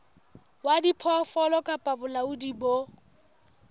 wa diphoofolo kapa bolaodi bo